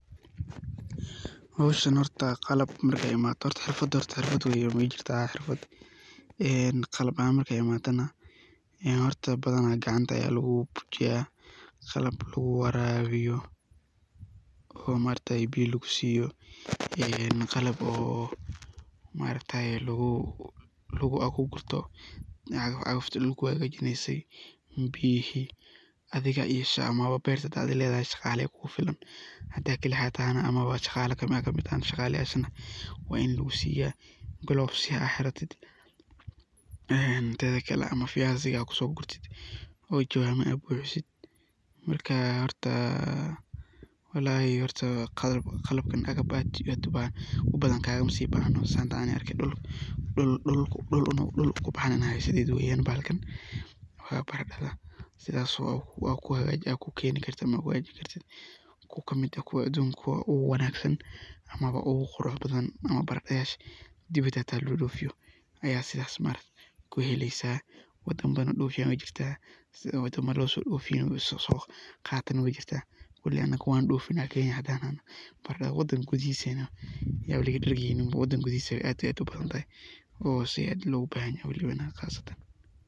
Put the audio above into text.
Hooshan horta qalab marka imathoh xeerfada ee qalab ahan marka imathoh ya horta bathan kacanta Aya lagu buujiyah, lagu warabisoh oo maaragtay biya lagu siiyeh, ee qalab maaragtay lagu gortoh macawiska lagu hagajeneysay biye adiga isticmalah beerta adega leethahay kufilan handa kaliga AA tahay amah shqala kamit tahay shaqalayasha wa ini lagu siiyeh clover ya AA xeeated ee midetha Kali amah viazi AA kusogorted oo jawama AA buxiset wallahi horta qalbkan aad kubathan kagamabbahnoo setha Anika argay dulka ayu kibaxaa bee bahalkan setha kihajeen amah kugeeni kartah ku kameet aah kuwa adunka ugu wanagsan amah ugu quruxbathan dewada xata lobdoofeeyoh Aya sethasi maargtay kuheli kartah wadankga dulka ugu jeertah setha mar lo sodofeeyoh, wali Anika keenya handa nahnoh wandofeenah marka wadanga kuthahisa nah Yaba laga dargeynin si aad iyo aad u bahanthay ad lagu bahanyahay qaasatan .